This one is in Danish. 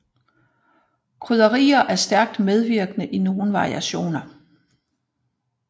Krydderier er stærkt indvirkende i nogle variationer